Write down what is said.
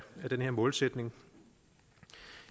den her målsætning